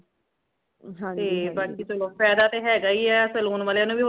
ਤੇ ਬਾਕੀ ਚਲੋ ਫਾਇਦਾ ਤਾ ਹੈਗਾ ਹੀ ਹੈ saloon ਵਾਲਿਆਂ ਨੂ ਵੀ